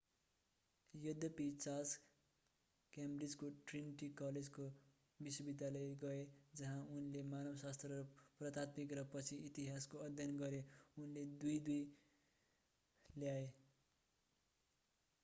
यद्यपि चार्ल्स क्याम्ब्रिजको ट्रिनिटी कलेजको विश्वविद्यालय गए जहाँ उनले मानवशास्त्र र पुरातात्विक र पछि इतिहासको अध्ययन गरे उनले 2:2 निम्न दोस्रो वर्गको डिग्री ल्याए।